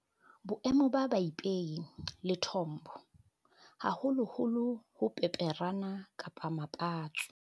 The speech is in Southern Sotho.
Boemo ba peipi, lethombo, haholoholo ho peperana kapa mapatso.